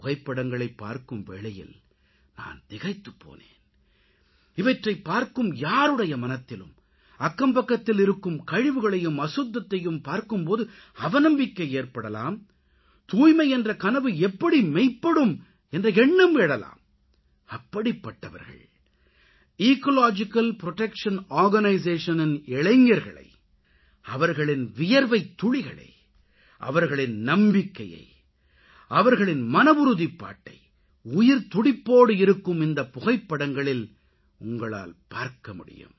புகைப்படங்களைப் பார்க்கும் வேளையில் நான் திகைத்துப்போனேன் இவற்றைப் பார்க்கும் யாருடைய மனத்திலும் அக்கம்பக்கத்தில் இருக்கும் கழிவுகளையும் அசுத்தத்தையும் பார்க்கும் போது அவநம்பிக்கை ஏற்படலாம் தூய்மை என்ற கனவு எப்படி மெய்ப்படும் என்ற எண்ணம் எழலாம் அப்படிப்பட்டவர்கள் எக்காலஜிக்கல் புரொடெக்ஷன் Organisationஇன் இளைஞர்களை அவர்களின் வியர்வைத்துளிகளை அவர்களின் நம்பிக்கையை அவர்களின் மனவுறுதிப்பாட்டை உயிர்த்துடிப்போடு இருக்கும் இந்தப் புகைப்படங்களில் உங்களால் பார்க்கமுடியும்